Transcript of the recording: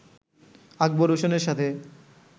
আকবর হোসেনের সাথে